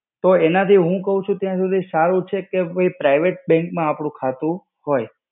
તો એનાથી હું કવછું ત્યાં સુધી કે private bank માં આપણું ખાતું હોય.